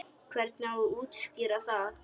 Hvernig á að útskýra það?